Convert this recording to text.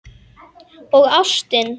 Og ástin.